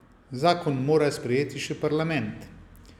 Zakon mora sprejeti še parlament.